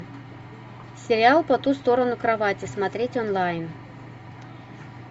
сериал по ту сторону кровати смотреть онлайн